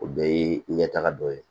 O bɛɛ ye ɲɛtaga dɔ ye